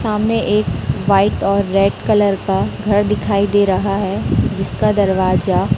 सामने एक व्हाइट और रेड कलर का घर दिखाई दे रहा है जिसका दरवाजा--